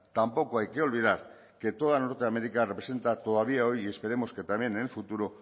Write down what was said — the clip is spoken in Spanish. tampoco hay que olvidar que toda norteamérica representa todavía hoy y esperemos que también en el futuro